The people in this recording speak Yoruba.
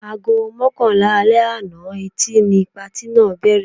Aago mọ́kànlá alẹ́ àná Ẹtì ni patí náà bẹ̀rẹ̀.